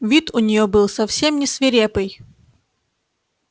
вид у неё был совсем не свирепый